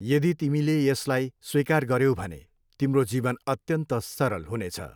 यदि तिमीले यसलाई स्वीकार गऱ्यौ भने तिम्रो जीवन अत्यन्त सरल हुनेछ।